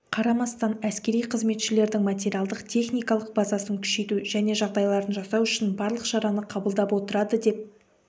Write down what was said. қарамастан әскери қызметшілердің материалдық-техникалық базасын күшейту және жағдайларын жасау үшін барлық шараны қабылдап отырады деп